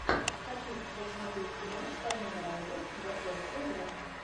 хочу сейчас смотреть кино с вайноной райдер заклятье два